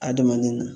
Adamaden na